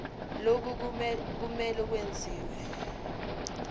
lokhu kumele kwenziwe